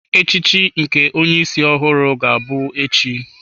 Echichi nke onye isi ọhụrụ ga-abụ echi.